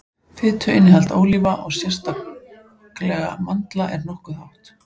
fituinnihald ólíva og sérstaklega mandla er nokkuð hátt